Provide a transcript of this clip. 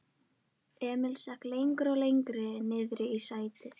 Emil seig lengra og lengra niðrí sætið.